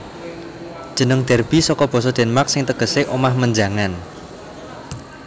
Jeneng Derby saka basa Denmark sing tegesé omah menjangan